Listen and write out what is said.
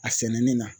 A sɛnɛnen na